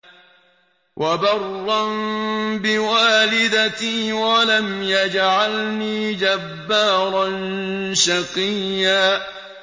وَبَرًّا بِوَالِدَتِي وَلَمْ يَجْعَلْنِي جَبَّارًا شَقِيًّا